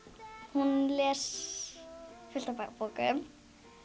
hún les fullt af bókum